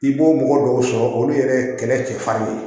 I b'o mɔgɔ dɔw sɔrɔ olu yɛrɛ ye kɛlɛ cɛfarin ye